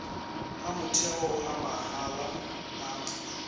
a motheo a mahala a